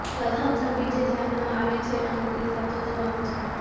પ્રથમ છબી જે ધ્યાનમાં આવે છે અને તે સાચો જવાબ છે